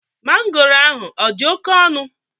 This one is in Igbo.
Mangoro ahụ ọ dị oke ọnụ?